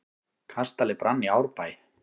Kastali brann í Árbæ